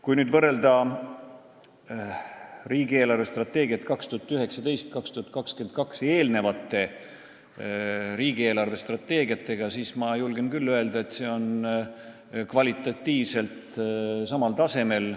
Kui nüüd võrrelda riigi eelarvestrateegiat 2019–2022 eelnevate riigi eelarvestrateegiatega, siis ma julgen küll öelda, et see on kvalitatiivselt samal tasemel.